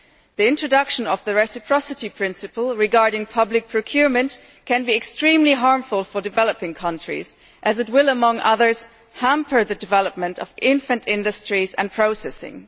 The introduction of the reciprocity principle regarding public procurement can be extremely harmful for developing countries as it will, among other things, hamper the development of infant industries and processing.